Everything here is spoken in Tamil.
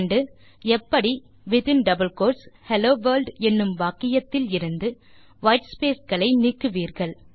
நீங்கள் எப்படி ஹெல்லோ வர்ல்ட் என்னும் வாக்கியத்தில் இருந்து வைட்ஸ்பேஸ் களை நீக்குவீர்கள்